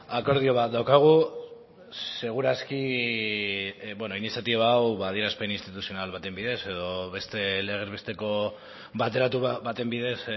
akordio bat daukagu seguraski iniziatiba hau adierazpen instituzional baten bidez edo beste legez besteko bateratu baten bidez